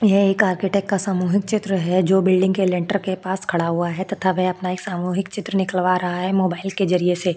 यह एक आर्किटेकट का सामूहिक चित्र है जो बिल्डिंग के लेंटर के पास खड़ा हुआ है तथा वह अपना एक सामूहिक चित्र निकलवा रहा है मोबाइल के जरिये से।